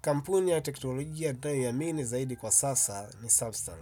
Kampuni ya techologia ninayo iamini zaidi kwa sasa ni samsung.